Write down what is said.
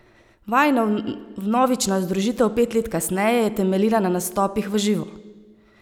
Vajina vnovična združitev pet let kasneje je temeljila na nastopih v živo.